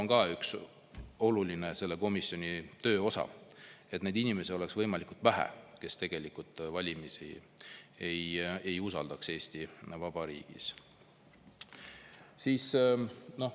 Ma arvan, et see oleks selle komisjoni töö oluline osa, et neid inimesi oleks võimalikult vähe, kes tegelikult valimisi ei usalda Eesti Vabariigis.